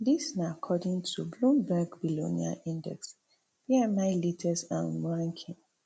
dis na according tobloomberg billionaire index bmilatest um ranking